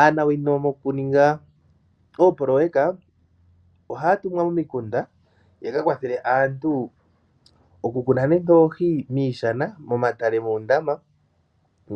Aanawino mokuninga oopoloyeka, ohaa tumwa momikunda yakwathele aantu oku kuna oohi miishana, moondama